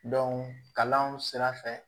kalanw sira fɛ